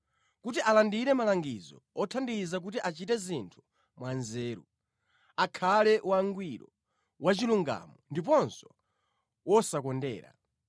kuti alandire malangizo othandiza kuti achite zinthu mwanzeru, akhale wangwiro, wachilungamo ndiponso wosakondera.